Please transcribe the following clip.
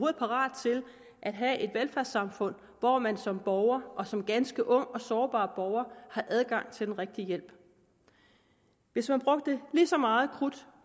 er parate til at have et velfærdssamfund hvor man som borger og som ganske ung og sårbar borger har adgang til den rigtige hjælp hvis man brugte lige så meget krudt